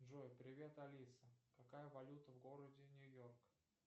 джой привет алиса какая валюта в городе нью йорк